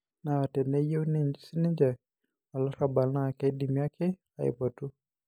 Naa teneyiu sininje olarrabal naa keidim ake aipotu